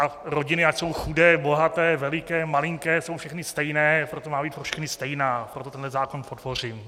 A rodiny, ať jsou chudé, bohaté, veliké, malinké, jsou všechny stejné, proto má být pro všechny stejná, proto tenhle zákon podpořím.